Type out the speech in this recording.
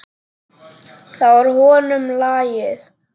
Það var honum lagið.